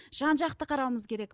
жан жақты қарауымыз керек